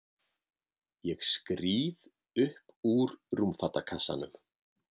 Ég skríð upp úr rúmfatakassanum.